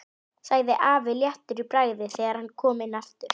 sagði afi léttur í bragði þegar hann kom inn aftur.